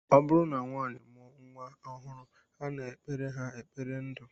Ọ bụrụ na nwaanyị mụọ nnwa ọhụrụ, a na-ekpere ha ekpere ndu